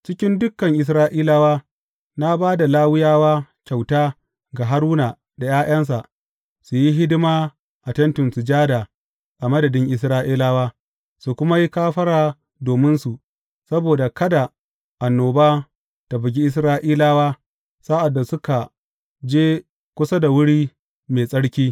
Cikin dukan Isra’ilawa, na ba da Lawiyawa kyauta ga Haruna da ’ya’yansa, su yi hidima a Tentin Sujada a madadin Isra’ilawa, su kuma yi kafara dominsu saboda kada annoba ta bugi Isra’ilawa sa’ad da suka je kusa da wuri mai tsarki.